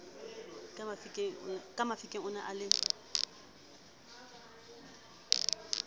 ka mafikeng one a le